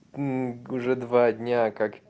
м уже два дня как